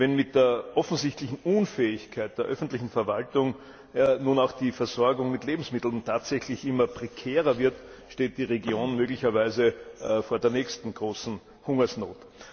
Wenn mit der offensichtlichen Unfähigkeit der öffentlichen Verwaltung nun auch die Versorgung mit Lebensmitteln tatsächlich immer prekärer wird, steht die Region möglicherweise vor der nächsten großen Hungersnot.